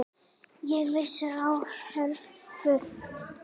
Ég vissi örfáa hluti.